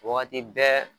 Wagati bɛɛ